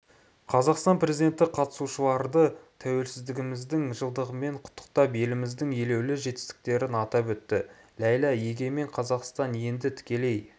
қазақстан президенті қатысушыларды тәуелсіздігіміздің жылдығымен құттықтап еліміздің елеулі жетістіктерін атап өтті ләйла егемен қазақстан енді тікелей